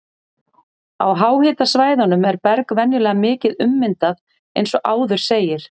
Á háhitasvæðunum er berg venjulega mikið ummyndað eins og áður segir.